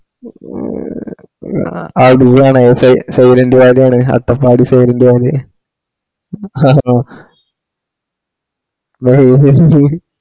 ഹെ ഉം ആ ഡി ആണ്സൈലന്റ് വാലി ആണ് അട്ടപ്പാടി സൈലൻറ് വാലി ആണോ